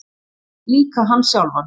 Já, líka hann sjálfan.